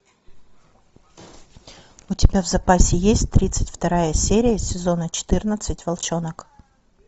у тебя в запасе есть тридцать вторая серия сезона четырнадцать волчонок